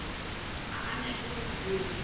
ga a nyake go obja